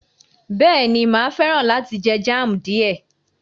Bẹ́ẹ̀ni, mà á fẹ́ràn láti jẹ jam díẹ̀